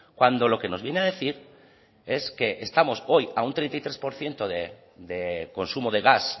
cuando lo que nos viene a decir es que estamos hoy a un treinta y tres por ciento de consumo de gas